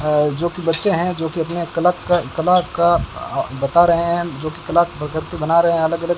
अ जो कि बच्चे हैं जो कि अपने कलाका कला का आ बता रहे हैं जो कि कलाकृति बना रहे हैं अलग-अलग --